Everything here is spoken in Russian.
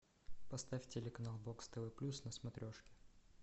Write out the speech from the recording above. поставь телеканал бокс тв плюс на смотрешке